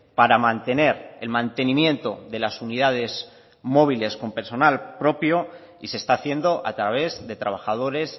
para mantener el mantenimiento de las unidades móviles con personal propio y se está haciendo a través de trabajadores